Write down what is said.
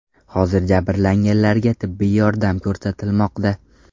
Hozir jabrlanganlarga tibbiy yordam ko‘rsatilmoqda.